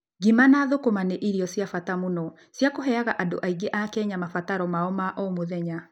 Ngima na hukuma nĩ irio cia bata mũno cia kũheaga andũ aingĩ a Kenya mabataro mao ma o mũthenya.